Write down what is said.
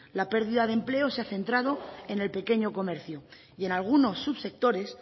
la pérdida de empleo se ha centrado en el pequeño comercio y en alguno subsectores